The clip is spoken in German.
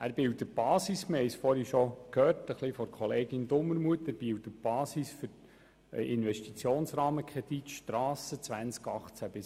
Wie wir bereits von der Kollegin Dumermuth gehört haben, bildet der Strassennetzplan die Basis für den Investitionsrahmenkredit Strasse 2018–2021.